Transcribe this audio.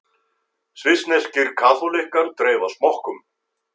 Svissneskir kaþólikkar dreifa smokkum